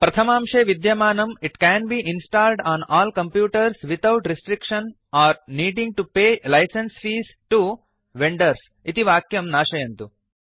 प्रथमांशे विद्यमानं it can be installed on all computers without restriction or needing to pay licence fees to vendors इति वाक्यं नाशयन्तु